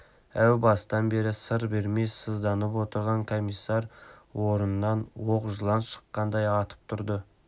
әу бастан бері сыр бермей сызданып отырған комиссар орнынан оқ жылан шаққандай атып тұрды